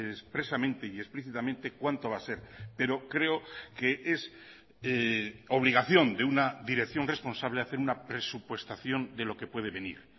expresamente y explícitamente cuánto va a ser pero creo que es obligación de una dirección responsable hacer una presupuestación de lo que puede venir